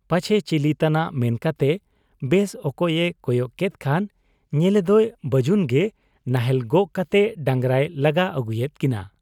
ᱯᱟᱪᱷᱮ ᱪᱤᱞᱤ ᱛᱟᱱᱟᱜ ᱢᱮᱱᱠᱟᱛᱮ ᱵᱮᱥ ᱚᱠᱚᱡ ᱮ ᱠᱚᱭᱚᱜ ᱠᱮᱫ ᱠᱷᱟᱱ ᱧᱮᱞᱮᱫᱚᱭ ᱵᱟᱹᱡᱩᱱ ᱜᱮ ᱱᱟᱦᱮᱞ ᱜᱚᱜ ᱠᱟᱛᱮ ᱰᱟᱸᱜᱽᱨᱟᱭ ᱞᱟᱜᱟ ᱟᱹᱜᱩᱭᱮᱫ ᱠᱤᱱᱟ ᱾